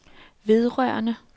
vedrørende